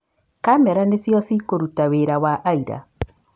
Kamera nĩcio cikũruta wĩra wa aira